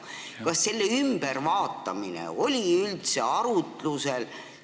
Kas selle muutmine oli üldse arutlusel?